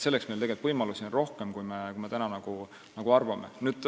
Selleks on meil võimalusi rohkem, kui me arvame.